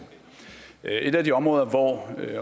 et af de områder hvor